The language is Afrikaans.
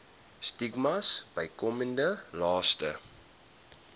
stigmas bykomende laste